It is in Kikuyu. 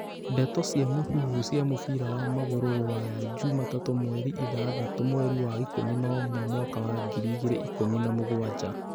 Ndeto cia mũhuhu cia mũbira wa magũrũ Rũraya juma tatũ mweri ithathatũ mweri wa ikũmi na umwe mwaka wa ngiri igĩrĩ ikumi na mũgwanja